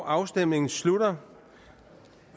afstemningen slutter